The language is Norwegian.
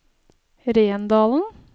Rendalen